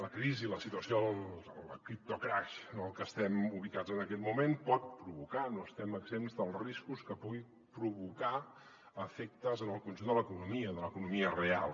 la crisi la situació el criptocrash en el que estem ubicats en aquest moment pot provocar no estem exempts dels riscos que pugui provocar efectes en el conjunt de l’economia de l’economia real